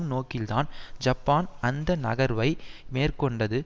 நோக்கில்தான் Japan அந்த நகர்வை மேற்கொண்டது